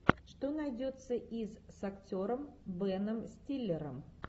что найдется из с актером беном стиллером